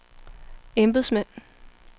embedsmænd